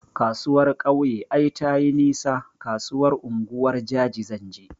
Kasuwar kauye ai tayi nisa, kasuwar unguwar jaji zanje